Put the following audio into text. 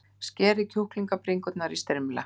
Skerið kjúklingabringurnar í strimla.